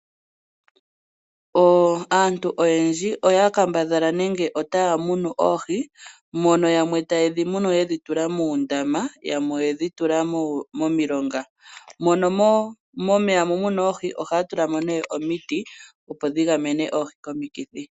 Aantu oyendji oya kambadhala nenge otaya munu oohi mono yamwe taye dhi munu yedhi tula muundama, yamwe oye dhi tula momilonga, mono nomeya mu muna oohi ohaya tula mo nee omiti opo dhi gamenwe oohi komikithi.